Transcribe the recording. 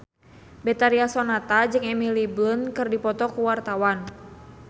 Betharia Sonata jeung Emily Blunt keur dipoto ku wartawan